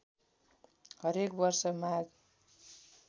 हरेक वर्ष माघ